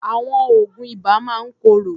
Àwọn oògùn ibà máa ń korò.